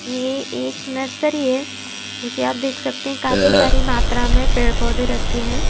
ये एक नर्सरी है जो कि आप देख सकते हैं काफी सारी मात्रा में पेड़-पौधे रखे हैं।